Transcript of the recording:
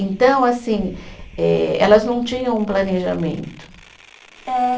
Então, assim, eh elas não tinham um planejamento. Eh